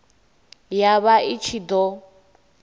ya vha i ṱshi ḓo